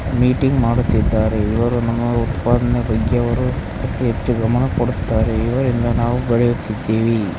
Meeting ಮಾಡುತಿದ್ದಾರೆ ಇವರು ನಮ್ಮ ಉತ್ಪಾದನೆ ಬಗ್ಗೆ ಅವರು ಅತಿ ಹೆಚ್ಚು ಗಮನ ಕೊಡುತ್ತಾರೆ ಇವರಿಂದ ನಾವು ಬೆಳಿಯುತಿದ್ದೇವೆ.